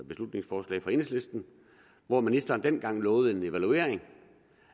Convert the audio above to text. beslutningsforslag fra enhedslisten hvor ministeren dengang lovede en evaluering